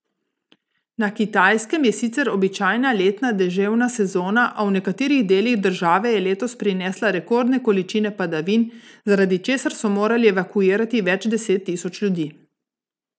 Na Kitajskem je sicer običajna letna deževna sezona, a v nekaterih delih države je letos prinesla rekordne količine padavin, zaradi česar so morali evakuirati več deset tisoč ljudi.